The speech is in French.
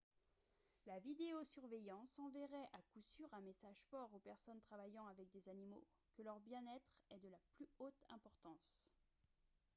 « la vidéo-surveillance enverrait à coup sûr un message fort aux personnes travaillant avec des animaux que leur bien-être est de la plus haute importance »